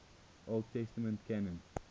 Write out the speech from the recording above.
old testament canon